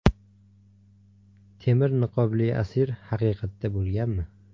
Temir niqobli asir haqiqatda bo‘lganmi?